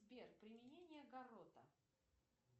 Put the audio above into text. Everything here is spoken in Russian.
сбер применение гаррота